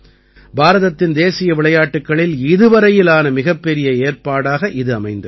பாரதத்தின் தேசிய விளையாட்டுக்களில் இதுவரையிலான மிகப்பெரிய ஏற்பாடாக இது அமைந்திருந்தது